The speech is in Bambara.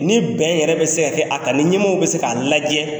Ni bɛn yɛrɛ bɛ se ka kɛ a kan ni ɲɛmaaw bɛ se k'a lajɛ.